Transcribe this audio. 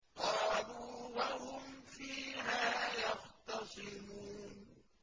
قَالُوا وَهُمْ فِيهَا يَخْتَصِمُونَ